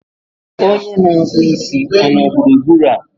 onye na-akpụ isi ọ nọ gburugburu a?